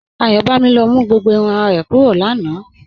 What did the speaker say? Ayọbámí ló mú gbogbo ìrùn àrà rẹ̀ kúrọ̀ láńà.